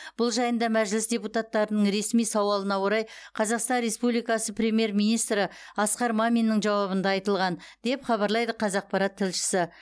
бұл жайында мәжіліс депутаттарының ресми сауалына орай қазақстан республикасы премьер министрі асқар маминнің жауабында айтылған деп хабарлайды қазақпарат тілшісі